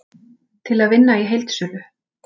Til að vinna í heildsölu